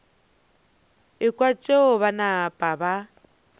ekwa tšeo ba napa ba